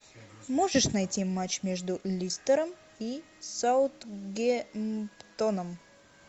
можешь найти матч между лестером и саутгемптоном